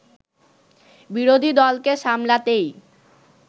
বিরোধী দলকে সামলাতেই